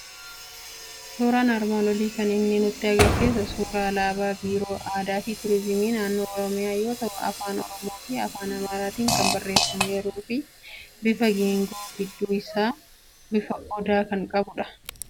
Suuraan armaan olii kan inni nutti argisiisu suuraa alaabaa Biiroo Aadaa fu Turizimii Naannoo Oromiyaa yoo ta'u, afaan Oromoo fi afaan Amaaraatiin kan barreeffameeru. Bifa geengoo gidduun isaa bifa odaa kan qabudha.